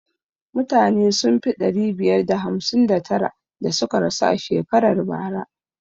Mutane sun fi ɗari bakwai da hamsin da tara da suka rasu a shekarar bara